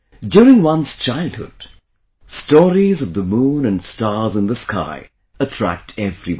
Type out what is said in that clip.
During one's childhood, stories of the moon and stars in the sky attract everyone